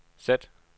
sæt